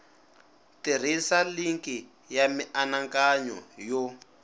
tirhisa linki ya mianakanyo yo